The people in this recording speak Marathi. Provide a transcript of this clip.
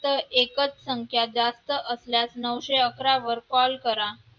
एकच संख्या जास्त असल्यास नऊशे अकरा वर call करा